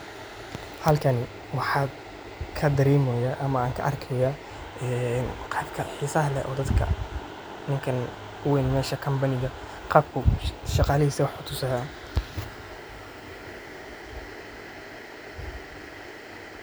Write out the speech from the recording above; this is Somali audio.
Halkan waaxa kadareemeyo ama aan ka arkaaya muqalka xiisaha leh oo daadka ninkaan uu weyn meshaan Company qaabku shaaqlihisa waax utuusayan